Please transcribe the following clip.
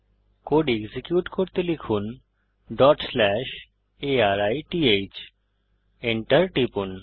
code execute করতে লিখুন arith Enter টিপুন